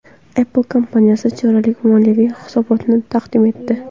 Apple kompaniyasi choraklik moliyaviy hisobotni taqdim etdi.